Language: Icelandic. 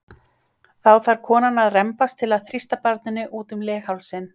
Þá þarf konan að rembast til að þrýsta barninu út um leghálsinn.